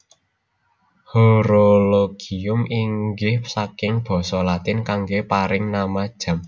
Horologium inggih saking basa Latin kanggé paring nama jam